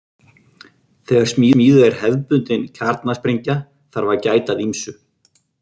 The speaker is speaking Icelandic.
Þegar smíðuð er hefðbundin kjarnasprengja þarf að gæta að ýmsu.